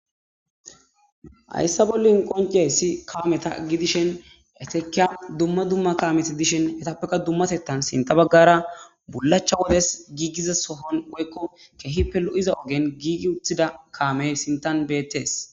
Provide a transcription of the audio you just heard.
Hayssa bollin qoncey si kaameta gi dishen etekiya dumma dumma kameti dishen etappeka dummasettan sinta baggara bullacha wodes giigiza sohon woykko kehippe lo'iza ogen giigi uthida kaamey sintan bettees.